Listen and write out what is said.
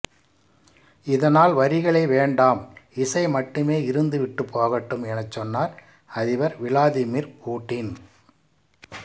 இதனால் வரிகளே வேண்டாம் இசை மட்டுமே இருந்து விட்டுப் போகட்டும் எனச் சொன்னார் அதிபர் விளாதிமிர் பூட்டின்